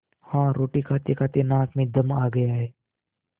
हाँ रोटी खातेखाते नाक में दम आ गया है